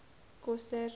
koster